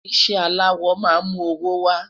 iṣẹ alawọ má mú owó wa